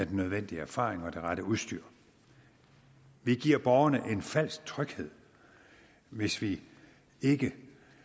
den nødvendige erfaring og det rette udstyr vi giver borgerne en falsk tryghed hvis vi ikke